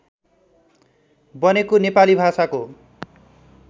बनेको नेपाली भाषाको